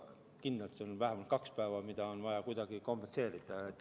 Kindlasti on vähemalt kahte päeva vaja kuidagi kompenseerida.